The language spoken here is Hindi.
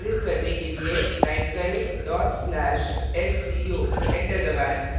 निष्पादित करने के लिए type करें/sco enter दबाएँ